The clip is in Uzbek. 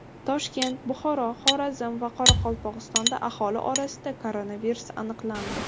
Toshkent, Buxoro, Xorazm va Qoraqalpog‘istonda aholi orasida koronavirus aniqlandi.